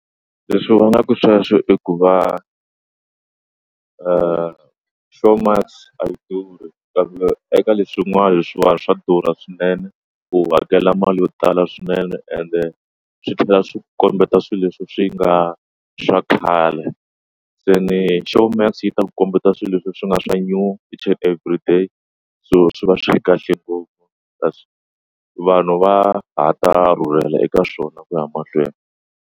Leswi vangaka sweswo i ku va showmax a yi dhuri kambe eka leswin'wana leswiwani swa durha swinene u hakela mali yo tala swinene ende swi tlhela swi kombeta swilo leswi swi nga swa khale se ni showmax yi ta ku kombeta swilo leswi swi nga swa new each and every day so swi va swi kahle ngopfu ta vanhu va hata rhurhela eka swona ku ya mahlweni.